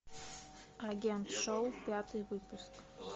агент шоу пятый выпуск